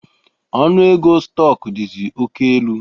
Ọnụ ego stọk dizi oké elu